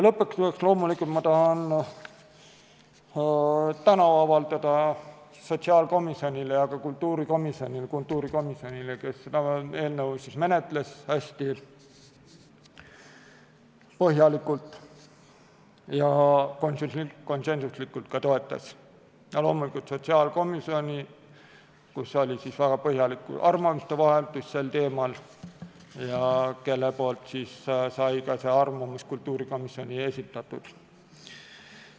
Lõpetuseks tahan ma tänu avaldada sotsiaalkomisjonile ja ka kultuurikomisjonile, sest kultuurikomisjon seda eelnõu menetles hästi põhjalikult ja konsensuslikult ka toetas, ja loomulikult sotsiaalkomisjonile, kus oli väga põhjalik arvamuste vahetus sel teemal ja kelle poolt sai ka arvamus kultuurikomisjonile esitatud.